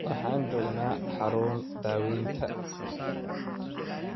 Waxaan joognaa xarun daawaynta